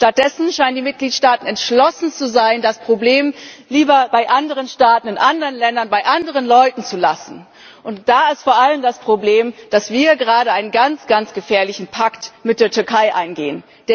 Stattdessen scheinen die Mitgliedstaaten entschlossen zu sein, das Problem lieber bei anderen Staaten, in anderen Ländern, bei anderen Leuten zu lassen. Und da ist vor allem das Problem, dass wir gerade einen ganz, ganz gefährlichen Pakt mit der Türkei eingehen.